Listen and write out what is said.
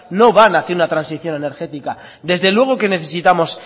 no van hacía una transacción energética desde luego que necesitamos